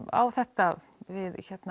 á þetta við